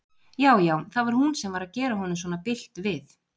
Já, já, það var hún sem var að gera honum svona bilt við!